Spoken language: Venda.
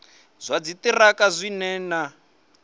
zwa dziṱhirakha zwi re na